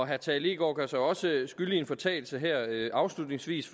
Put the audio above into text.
herre tage leegaard gør sig også skyldig i en fortalelse her afslutningsvis